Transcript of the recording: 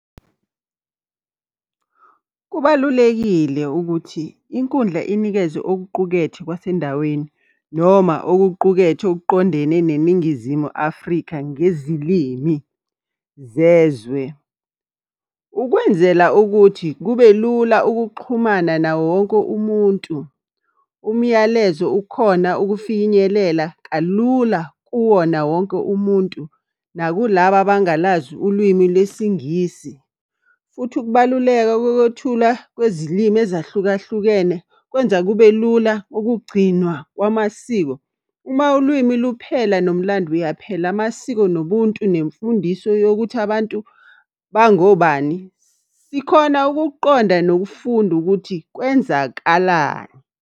Kubalulekile ukuthi inkundla inikezwe okuqukethwe kwasendaweni noma okuqukethwe okuqondene neNingizimu Afrika ngezilimi zezwe. Ukwenzela ukuthi kube lula ukuxhumana nawo wonke umuntu, umyalezo ukhona ukufinyelela kalula kuwona wonke umuntu, nakulabo abangalazi ulwimi lesingisi. Futhi ukubaluleka kokwethula kwezilimi ezahlukahlukene kwenza kube lula ukugcinwa kwamasiko. Uma ulwimi luphela nomlando uyaphela, amasiko nobuntu nemfundiso yokuthi abantu bangobani. Sikhona ukukuqonda nokufunda ukuthi kwenzakalani.